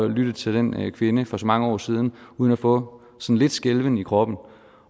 lytte til den kvinde for så mange år siden uden at få lidt skælven i kroppen